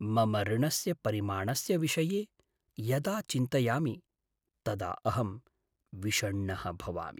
मम ऋणस्य परिमाणस्य विषये यदा चिन्तयामि तदा अहं विषण्णः भवामि।